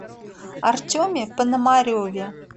артеме пономареве